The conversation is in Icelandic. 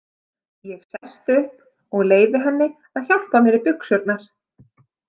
Ég sest upp og leyfi henni að hjálpa mér í buxurnar.